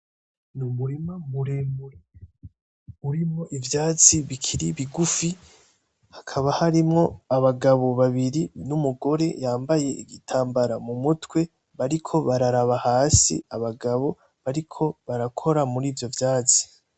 N'umurima muremure urimo ivyatsi bikiri bigufi hakaba harimo abagabo babiri n'umugore yambaye igitambara mumutwe, bariko bararaba hasi abagabo bariko barakora muri ivyo vyatsi.